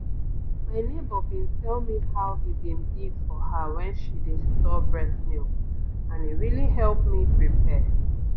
my neighbor been tell me how e been dey for her when she dey store breast milk and e really help me prepare